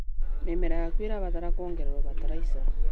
Mĩmera yaku ĩrabatara kuongererwo bataraitha.